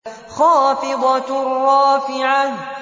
خَافِضَةٌ رَّافِعَةٌ